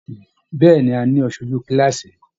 Bẹ̀ẹ́ni, a ní aṣoju kilaasi.